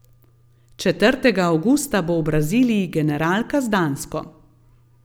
Četrtega avgusta bo v Braziliji generalka z Dansko.